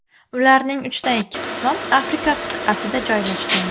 Ularning uchdan ikki qismi Afrika qit’asida joylashgan.